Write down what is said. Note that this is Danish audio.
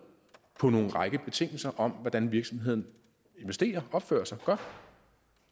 på en række betingelser om hvordan virksomheden investerer opfører sig godt